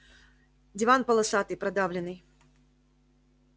диван полосатый продавленный